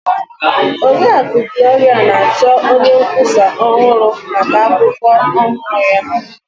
Oriakụ Gloria na-achọ onye nkwụsa ọhụrụ maka akwụkwọ ọhụrụ ya.